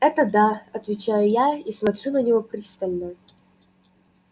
это да отвечаю я и смотрю на него пристально